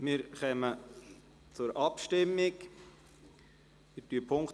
Wir kommen zur Abschreibung.